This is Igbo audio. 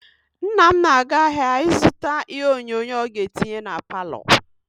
Nna m na-aga ahịa ịzụta ihe onyonyo ọ ga-etinye na palọ.